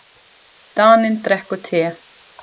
Daninn drekkur te.